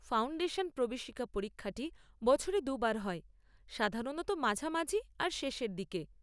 Foundation প্রবেশিকা পরীক্ষাটি বছরে দু'বার হয়, সাধারণত মাঝামাঝি আর শেষের দিকে।